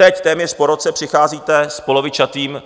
Teď, téměř po roce, přicházíte s polovičatým